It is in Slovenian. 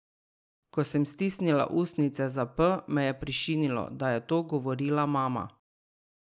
Ko sem stisnila ustnice za P, me je prešinilo, da je to govorila mama.